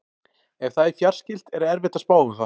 Ef það er fjarskylt er erfitt að spá um það.